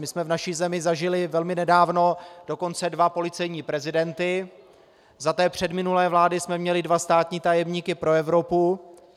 My jsme v naší zemi zažili velmi nedávno dokonce dva policejní prezidenty, za té předminulé vlády jsme měli dva státní tajemníky pro Evropu.